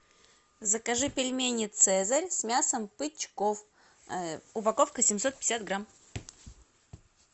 закажи пельмени цезарь с мясом бычков упаковка семьсот пятьдесят грамм